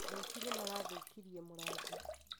Aici nĩ marathũũkirie mũrango